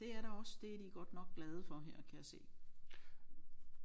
Det er der også det er de godt nok glade for her kan jeg se